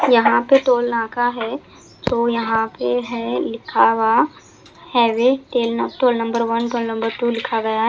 यहाँ पे टोल नाका है तो यहाँ पे है लिखा हुआ हैवे टेल न toll number one toll number two लिखा गया है।